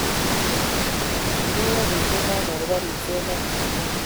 kimeyo biik chechang' akobo ribset ne yaa